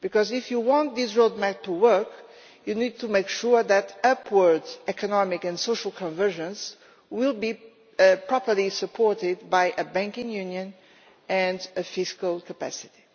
If you want this roadmap to work, you need to make sure that upward economic and social convergence will be properly supported by a banking union and a fiscal capacity.